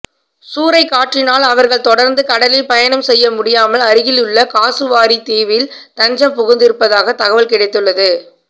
சூறைக்காற்றினால் அவர்கள் தொடர்ந்து கடலில் பயணம் செய்ய முடியாமல் அருகிலுள்ள காசுவாரி தீவில் தஞ்சம் புகுந்திருப்பதாக தகவல் கிடைத்துள்ளது